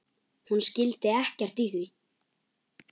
Hún skildi ekkert í því.